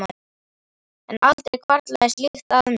en aldrei hvarflaði slíkt að mér.